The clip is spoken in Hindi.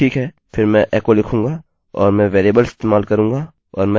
ठीक है फिर मैं echo लिखूँगा और मैं वेरिएबल इस्तेमाल करूँगा और मैं echo file लिखूँगा